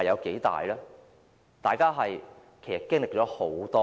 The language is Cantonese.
其實，大家也經歷了很多次。